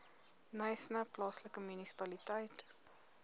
knysna plaaslike munisipaliteit